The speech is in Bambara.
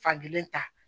Fankelen ta